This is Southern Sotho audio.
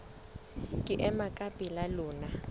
ke ema ka pela lona